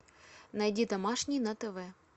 найди домашний на тв